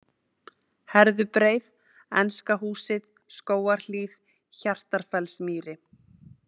Herðubreið, Enska húsið, Skógarhlíð, Hjartarfellsmýri